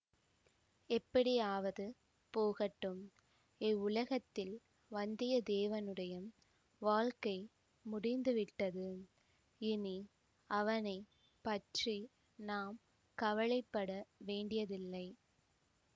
எப்படியாவது போகட்டும் இவ்வுலகத்தில் வந்தியத்தேவனுடைய வாழ்க்கை முடிந்துவிட்டது இனி அவனை பற்றி நாம் கவலை பட வேண்டியதில்லை